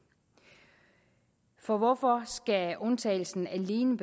og hvorfor undtagelsen alene